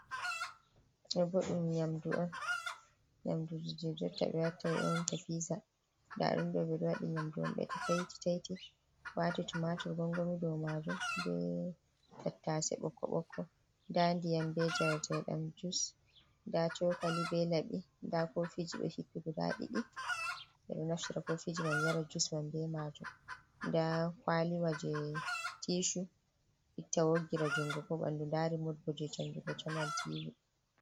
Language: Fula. Ɗo bo dum nyam du on bi e te dum pisa d yamdubt-t0 wati tu matur gongomi do majum be tttse bb da ndiyam be jar tidam jus da choka li be labi da ko fiji do hippigo da2idio naftira ko fiji man yara jus man be majum da kwaliwa je tishu itta wogira jungo ko bandu dari motgo je chanjugo chanal tivi.